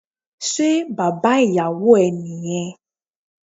Se baba iyàwò e ni yen?